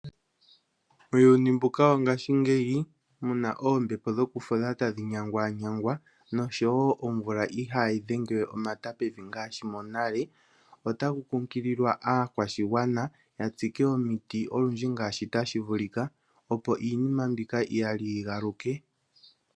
Muuyuni mbuka wongaashi ngeyi muna oombepo dho kufudha tadhi nyangwa nyangwa nomvula ihayi dhengewe omata pevi ngaashi monale otaku kunkililwa aakwashigwana ya tsike omiti olundji ngashi tashi vulika opo iinima mbika iyali yi galuke.